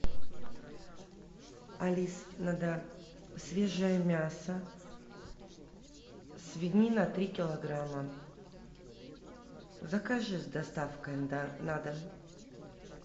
алиса надо свежее мясо свинина три килограмма закажи с доставкой на дом